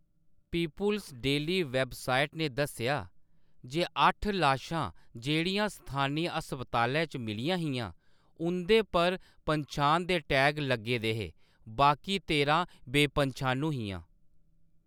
People's Daily website ने दस्सेआ जे अट्ठ लाशां जेह्‌‌ड़ियां स्थानी हस्पतालै च मिलियां हियां, उं'दे पर पन्छान दे टैग लग्गे दे हे; बाकी तेरां बेपंछानू हियां।